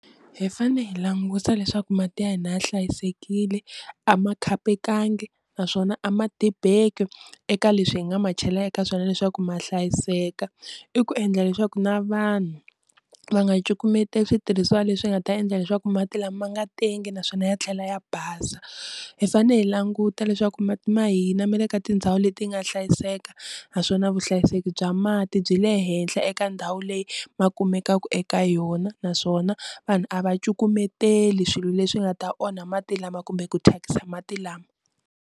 Hi fane hi langusa leswaku mati ya hina ya hlayisekile a ma khapekangi naswona a ma tibeki eka leswi hi nga ma chela eka swona leswaku ma hlayiseka, i ku endla leswaku na vanhu va nga cukumeteli switirhisiwa leswi nga ta endla leswaku mati lama ma nga tengi naswona ya tlhela ya basa, hi fanele hi languta leswaku mati ma hina ma le ka tindhawu leti nga hlayiseka naswona vuhlayiseki bya mati byi le henhla eka ndhawu leyi ma kumekaka eka yona, naswona vanhu a va cukumeteli swilo leswi nga ta onha mati lama kumbe ku thyakisa mati lama.